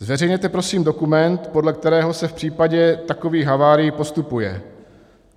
Zveřejněte prosím dokument, podle kterého se v případě takových havárií postupuje.